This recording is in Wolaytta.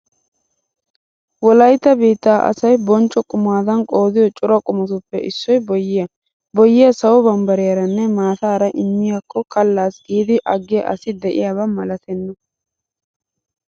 Wolaytta biittaa asay bonchcho qumadan qoodiyo cora qumatuppe issoy boyyiya. Boyyiya sawo bambbariyaranne maattaara immiyakko kallaas giidi aggiya asi de'iyaba malatenna.